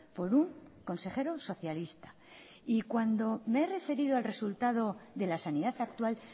por un consejero socialista y cuando me he referido al resultado de la sanidad actual